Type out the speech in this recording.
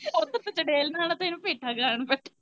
ਓੱਧਰ ਤੂੰ ਚੜੇਲ ਬਣਾਣਾ ਤੇ ਇੰਨੂ ਪੇਠਾ ਗਾਣ ਵਾਲੀ।